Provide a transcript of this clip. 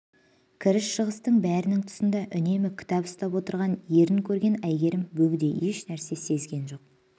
кіріс-шығыстың бәрінің тұсында үнемі кітап ұстап отырған ерін көрген әйгерім бөгде еш нәрсе сезген жоқ